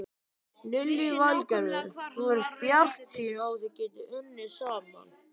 Lillý Valgerður: Þú ert bjartsýnn á þið getið unnið saman?